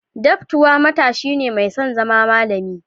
Daptwa matashi ne mai son zama malami.